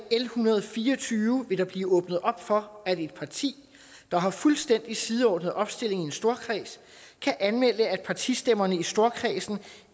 hundrede og fire og tyve vil der blive åbnet op for at et parti der har fuldstændig sideordnet opstilling i en storkreds kan anmelde at partistemmerne i storkredsen